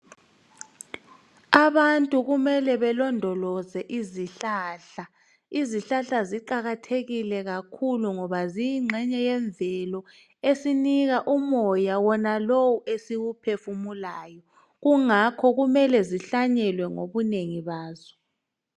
Abantu kumele belondoloze izihlahla, izihlahla ziqakathekile kakhulu ngoba ziyingxenye yemvelo esinika umoya wona lowu esiwuphefumulayo kungakho kumele zihlanyelwe ngobunengi bazo.